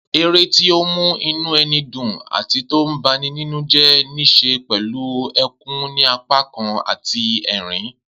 Eré tí ó mú inú ẹni dùn àti tó bani nínújẹ́ ní ṣe pẹ̀lú ẹkún ní apá kan àti ẹ̀rín